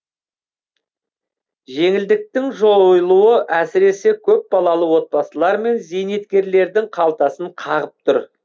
жеңілдіктің жойылуы әсіресе көпбалалы отбасылар мен зейнеткерлердің қалтасын қағып тұр